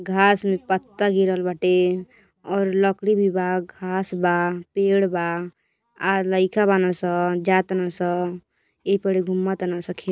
घास में पत्ता गिरल बाटे और लकड़ी भी बा घास बा पेड़ बा आ लइका बनान स जताने स एहि पड़े घूम तारंस।